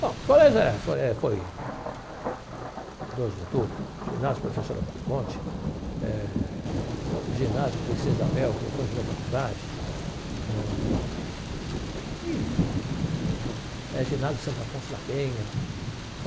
Bom, os colégios eh, foi foi Doze de Outubro, Ginásio Professor Alberto Conte, eh Ginásio Princesa Isabel, que depois virou faculdade ãh, e um monte eh Ginásio Santo Afonso da Penha.